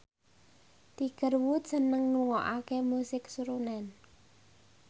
Tiger Wood seneng ngrungokne musik srunen